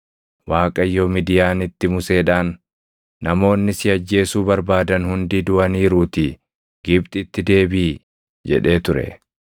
Waaqayyo Midiyaanitti Museedhaan, “Namoonni si ajjeesuu barbaadan hundi duʼaniiruutii Gibxitti deebiʼi” jedhee ture.